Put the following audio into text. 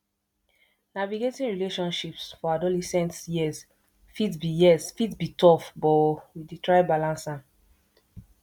navigating relationships for adolescent years fit be years fit be tough but we dey try balance am